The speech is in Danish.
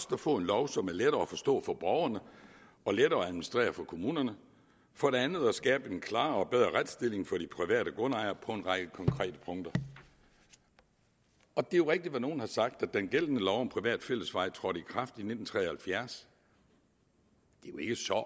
at få en lov som er lettere at forstå for borgerne og lettere at administrere for kommunerne for det andet at skabe en klarere og bedre retsstilling for de private grundejere på en række konkrete punkter det er rigtigt hvad nogle har sagt nemlig at den gældende lov om private fællesveje trådte i kraft i nitten tre og halvfjerds